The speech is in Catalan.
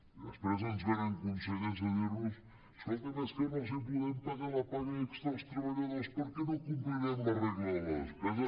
i després ens ve·nen consellers a dir·nos escoltin és que no els podem pagar la paga extra als tre·balladors perquè no complirem la regla de la despesa